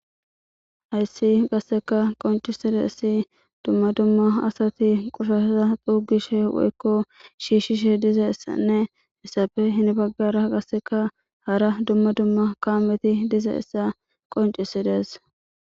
Hayssi qasseka qoncisidessi dumma dumma asati qoshasaza xuugishe woykko shiishishe dizayissanne issafe hin baggara qasseka hara dumma dumma kaameti dizayissa qoncisidees